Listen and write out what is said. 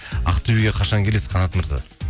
ақтөбеге қашан келесіз қанат мырза